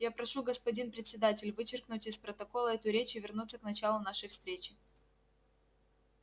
я прошу господин председатель вычеркнуть из протокола эту речь и вернуться к началу нашей встречи